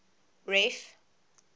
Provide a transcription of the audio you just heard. ref